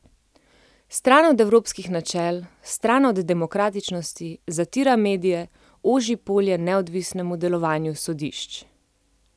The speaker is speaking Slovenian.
Stran od evropskih načel, stran od demokratičnosti, zatira medije, oži polje neodvisnemu delovanju sodišč.